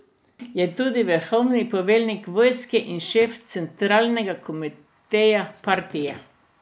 Je tudi vrhovni poveljnik vojske in šef centralnega komiteja partije.